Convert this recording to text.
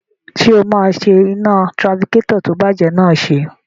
Ṣé o máa ṣe iná tirafikétọ̀ tó ti bàjẹ́ náà ṣe?